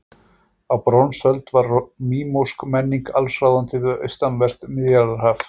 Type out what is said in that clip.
Á bronsöld var mínósk menning allsráðandi við austanvert Miðjarðarhaf.